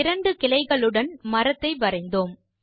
இரண்டு கிளைகளுடன் மரத்தை வரைந்தோம்